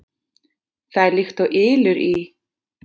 Það er líkt og ylur í